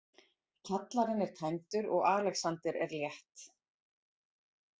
Kjallarinn er tæmdur og Alexander er létt.